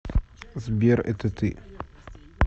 сбер это ты